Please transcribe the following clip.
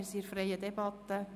Wir führen eine freie Debatte.